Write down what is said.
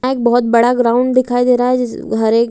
यहाँ एक बहुत बड़ा ग्राउंड दिखाई दे रहा है जिस हर एक --